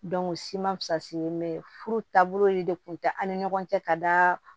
o si ma fusalen bɛ ye furu taabolo de kun tɛ an ni ɲɔgɔn cɛ ka da